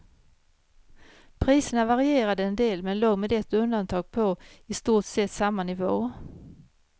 Priserna varierade en del, men låg med ett undantag på i stort sett samma nivå.